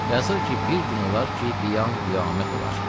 Yazır ki, bir gün olar ki, qiyam qiyamət olar.